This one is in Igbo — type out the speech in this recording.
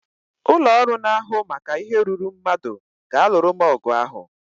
Ụlọ ọrụ na-ahụ maka ihe ruuru mmadụ ga-alụrụ m ọgụ ahụ